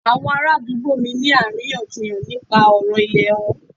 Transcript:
Àwọn ará àdúgbò mí ń ní àríyànjiyàn nípa ọ̀rọ̀ ìlẹ̀ wọn.